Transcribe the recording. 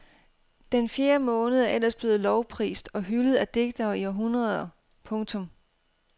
Den fjerde måned er ellers blevet lovprist og hyldet af digtere i århundreder. punktum